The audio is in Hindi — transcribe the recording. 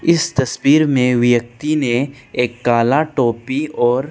इस तस्वीर में व्यक्ति ने एक काला टोपी और--